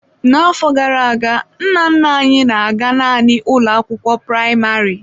N'afọ gara aga, nna nna anyị: na-aga naanị ụlọ akwụkwọ praịmarị.